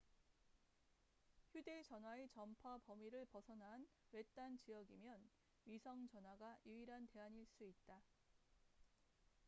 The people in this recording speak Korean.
휴대 전화의 전파 범위를 벗어난 외딴 지역이면 위성 전화가 유일한 대안일 수 있다